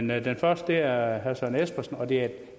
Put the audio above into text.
men den første er herre søren espersen og det er en